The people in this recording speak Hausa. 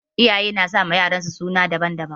Iyaye nasama yaransu suna daban-daban